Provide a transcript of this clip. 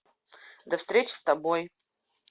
до встречи с тобой